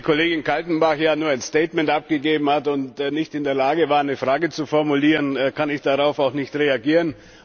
Nachdem die Kollegin Kadenbach ja nur ein Statement abgegeben hat und nicht in der Lage war, eine Frage zu formulieren, kann ich darauf auch nicht reagieren.